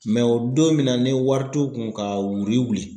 o don min na ne wari t'u kun ka wuri wuli.